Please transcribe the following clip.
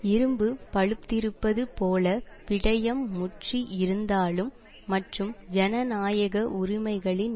இரும்பு பழுத்திருப்பது போல விடையம் முற்றி இருந்தாலும் மற்றும் ஜனநாயக உரிமைகளின்